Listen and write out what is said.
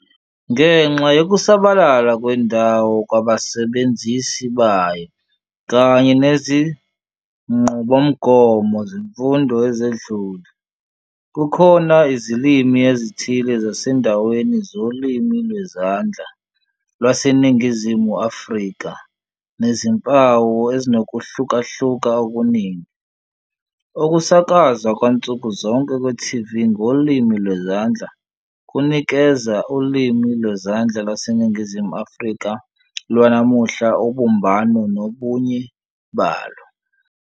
Ngenxa yokusabalala kwendawo kwabasebenzisi bayo kanye nezinqubomgomo zemfundo ezedlule, kukhona izilimi ezithile zasendaweni zoLimi Lwezandla LwaseNingizimu Afrika nezimpawu ezinokuhlukahluka okuningi. Ukusakazwa kwansuku zonke kwe-TV ngolimi lwezandla kunikeza uLimi Lwezandla LwaseNingizimu Afrika lwanamuhla ubumbano nobunye balo.